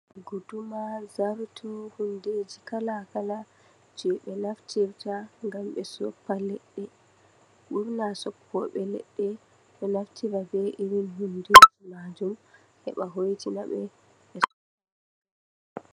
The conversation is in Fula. Guduma zarto hundeji kala kala je ɓe naftirta ngam ɓe soffa leɗɗe, ɓurna soffoɓe leɗɗe ɗo naftira be iri hundeji majum ngam hoitina ɓe.